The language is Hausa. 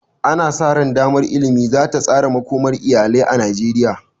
Ana sa ran damar ilimi za ta tsara makomar iyalai na Najeriya.